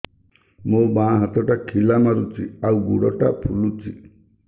ମୋ ବାଆଁ ହାତଟା ଖିଲା ମାରୁଚି ଆଉ ଗୁଡ଼ ଟା ଫୁଲୁଚି